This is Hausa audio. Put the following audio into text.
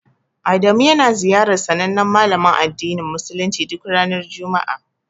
Adamu yana ziyarar sanannen malamin addinin musuluncin duk ranar juma'a.